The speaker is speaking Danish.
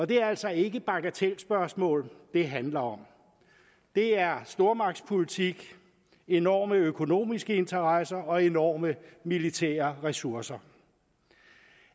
det er altså ikke bagatelspørgsmål det handler om det er stormagtspolitik enorme økonomiske interesser og enorme militære ressourcer